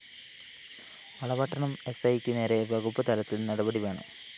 വളപട്ടണം എസ്‌ഐക്ക് നേരെ വകുപ്പ് തലത്തില്‍ നടപടി വേണം